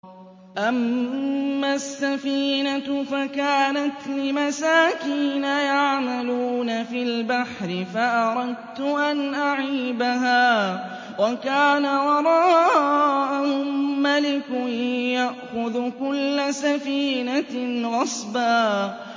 أَمَّا السَّفِينَةُ فَكَانَتْ لِمَسَاكِينَ يَعْمَلُونَ فِي الْبَحْرِ فَأَرَدتُّ أَنْ أَعِيبَهَا وَكَانَ وَرَاءَهُم مَّلِكٌ يَأْخُذُ كُلَّ سَفِينَةٍ غَصْبًا